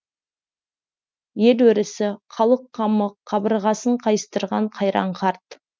ел өрісі халық қамы қабырғасын қайыстырған қайран қарт